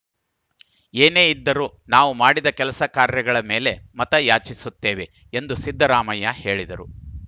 ಏನೇ ಇದ್ದರೂ ನಾವೂ ಮಾಡಿದ ಕೆಲಸಕಾರ್ಯಗಳ ಮೇಲೆ ಮತಯಾಚಿಸುತ್ತೇವೆ ಎಂದು ಸಿದ್ದರಾಮಯ್ಯ ಹೇಳಿದರು